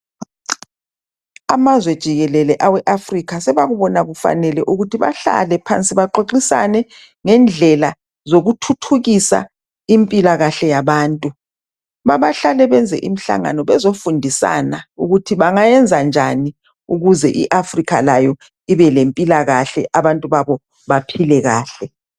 Amazwe jikelele awe Africa sobakuba kufanele ukuthi bahlale phansi baxoxisane ngendlela zokuthuthukisa impilakahle yabantu. Bakahlale benze imihlangano bezofundisana ukuthi bengayenza njani ukuze i Africa layo ibelempilakahle abantu babo baphile kahle.